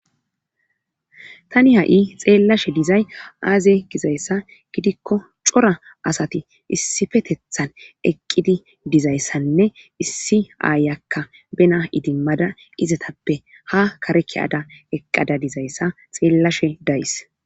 tani ha7i xeellashe dizay aaze gizayssa gidikko cora asati issifetethan eqqidi dizayssanne issi aayakka bena idimmada izatappe ha kareke ada eqqada dizayssa xeellashe days